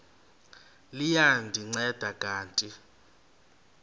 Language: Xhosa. liya ndinceda kanti